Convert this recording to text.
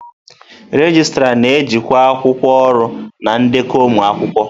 Regịstrá na-ejikwa akwụkwọ ọrụ na ndekọ ụmụ akwụkwọ.